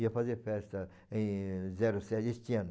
Ia fazer festa em zero sete, este ano.